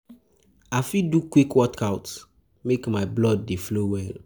I fit do quick workout, quick workout, make my blood dey flow well.